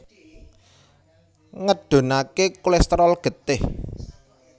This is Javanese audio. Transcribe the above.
Ngedhunaké kolèsterol getih